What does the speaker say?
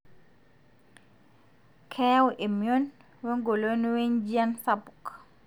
keyau emion we ngolon wenjian sapuk.